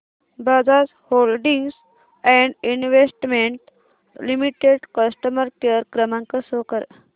Bajaj holdings and investment limited customer care क्रमांक show कर